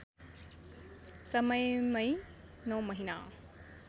समयमै नौ महिना